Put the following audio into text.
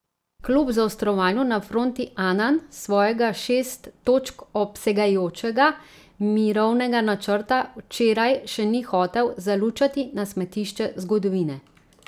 Kljub zaostrovanju na fronti Anan svojega šest točk obsegajočega mirovnega načrta včeraj še ni hotel zalučati na smetišče zgodovine.